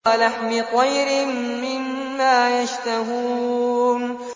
وَلَحْمِ طَيْرٍ مِّمَّا يَشْتَهُونَ